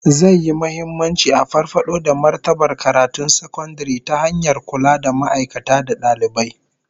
Zai yi muhimmanci a farfado da martabar karatun sakandare ta hanyar kula da ma'aikata da dalibai